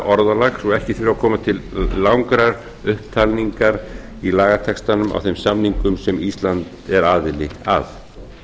orðalag svo ekki þurfi að koma til langrar upptalningar í lagatextanum á þeim samningum sem ísland er aðili að